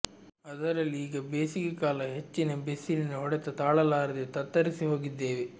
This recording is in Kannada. ಅದರಲ್ಲಿ ಈಗ ಬೇಸಿಗೆ ಕಾಲ ಹೆಚ್ಚಿನ ಬಿಸಿಲಿನ ಹೊಡೆತ ತಾಳಲಾರದೆ ತತ್ತರಿಸಿ ಹೋಗಿದ್ದೇವೆ